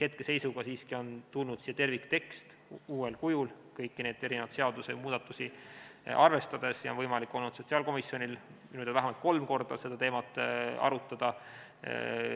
Hetkeseisuga on siiski tulnud siia terviktekst uuel kujul, kõiki neid seadusemuudatusi arvestades, ja sotsiaalkomisjonil on võimalik olnud minu teada vähemalt kolm korda seda teemat arutada.